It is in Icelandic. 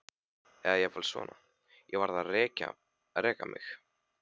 Eða jafnvel svona: Ég varð að reka mig á.